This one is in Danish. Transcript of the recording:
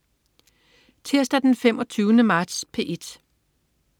Tirsdag den 25. marts - P1: